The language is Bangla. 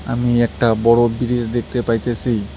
আমি একটা বড় বিরিজ দেখতে পাইতেসি।